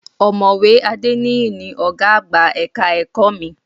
Ọ̀mọ̀wé Adéníyì ni ọ̀gá àgbà ẹ̀ka ẹ̀kọ́ mi